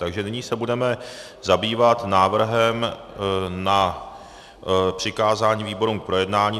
Takže nyní se budeme zabývat návrhem na přikázání výborům k projednání.